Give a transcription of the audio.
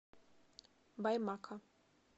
баймака